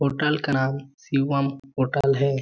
Hotel का नाम Shivam hotel हैं ।